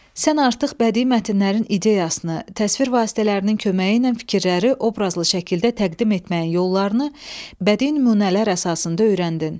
Sən artıq bədii mətnlərin ideyasını, təsvir vasitələrinin köməyi ilə fikirləri obrazlı şəkildə təqdim etməyin yollarını bədii nümunələr əsasında öyrəndin.